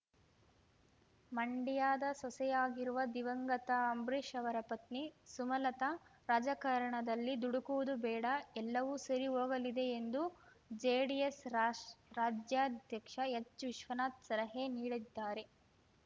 ಮಂಡ್ಯದ ಸೊಸೆಯಾಗಿರುವ ದಿವಂಗತ ಅಂಬರೀಶ್ ಅವರ ಪತ್ನಿ ಸುಮಲತಾ ರಾಜಕಾರಣದಲ್ಲಿ ದುಡುಕುವುದು ಬೇಡ ಎಲ್ಲವೂ ಸರಿ ಹೋಗಲಿದೆ ಎಂದು ಜೆಡಿಎಸ್ ರಾಷ್ ರಾಜ್ಯಾಧ್ಯಕ್ಷ ಹೆಚ್ ವಿಶ್ವನಾಥ್ ಸಲಹೆ ನೀಡಿದ್ದಾರೆ